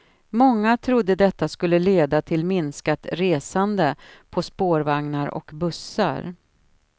Många trodde detta skulle leda till minskat resande på spårvagnar och bussar.